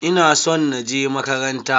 Ina son na je makaranta.